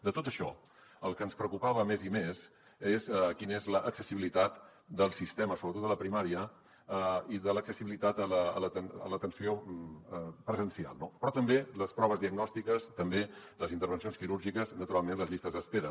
de tot això el que ens preocupava més i més és quina és l’accessibilitat del sistema sobretot a la primària i de l’accessibilitat a l’atenció presencial però també les proves diagnòstiques també les intervencions quirúrgiques naturalment les llistes d’espera